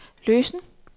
løsen